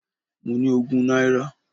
Mo ní ogún náírà.